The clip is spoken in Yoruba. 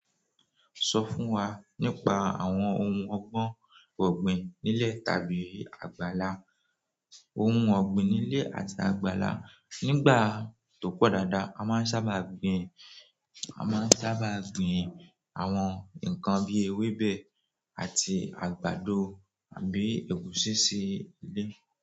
Sọ fún wa nípa àwọn ohun ọgbọ́n ọ̀gbìn nílé tàbí àgbàlá. Ohun ọ̀gbìn nílé àti àgbàlá. Nígbà tó pọ̀ dáadáa, a máa ń sábà gbin, a máa ń sábà gbin àwọn nǹkan bí i ewébẹ̀ àti àgbàdo àbí ẹ̀gúsí sí ilé.